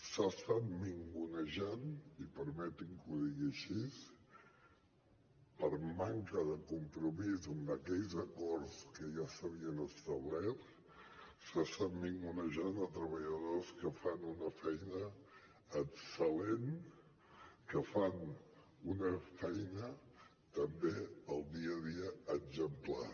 s’han estat ningunejant i permetin me que ho digui així per manca de compromís amb aquells acords que ja s’havien establert s’estan ningunejant treballadors que fan una feina excel·lent que fan una feina també al dia a dia exemplar